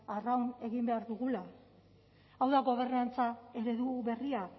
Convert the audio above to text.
arraun egin behar dugula hau da gobernantza eredu berria